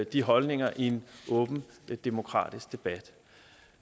de holdninger i en åben demokratisk debat